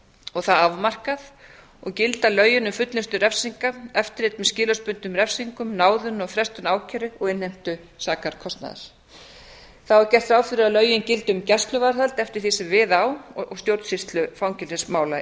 og það afmarkað og gilda lögin um fullnustu refsinga eftirlit með skilorðsbundnum refsingum náðun og frestun ákæru og innheimtu sakarkostnaðar þá er gert ráð fyrir að lögin gildi um gæsluvarðhald eftir því sem við á og stjórnsýslu fangelsismála